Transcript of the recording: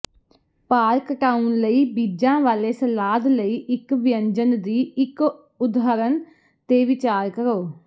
ਭਾਰ ਘਟਾਉਣ ਲਈ ਬੀਜਾਂ ਵਾਲੇ ਸਲਾਦ ਲਈ ਇੱਕ ਵਿਅੰਜਨ ਦੀ ਇੱਕ ਉਦਾਹਰਨ ਤੇ ਵਿਚਾਰ ਕਰੋ